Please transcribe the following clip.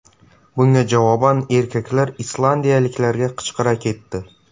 Bunga javoban erkaklar islandiyaliklarga qichqira ketdi.